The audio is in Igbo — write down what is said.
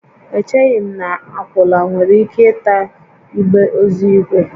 Echeghị m na akwụala nwere ike ịta igbe ozu ígwè